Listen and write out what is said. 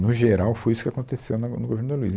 No geral, foi isso que aconteceu na, no, no governo da Luiza.